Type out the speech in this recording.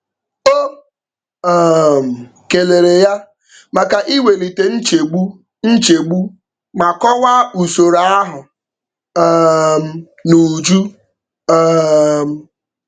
O um kelere ya maka iwelite nchegbu nchegbu ma kọwaa usoro ahụ um n'uju. um